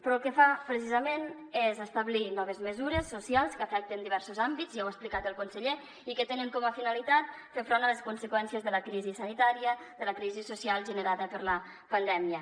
però el que fa precisament és establir noves mesures socials que afecten diversos àmbits ja ho ha explicat el conseller i que tenen com a finalitat fer front a les conseqüències de la crisi sanitària de la crisi social generada per la pandèmia